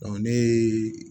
ne ye